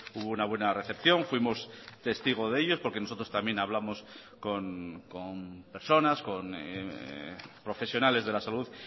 hubo una buena recepción fuimos testigos de ellos porque nosotros también hablamos con personas con profesionales de la salud